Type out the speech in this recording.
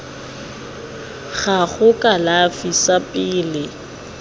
gago sa kalafi sa pele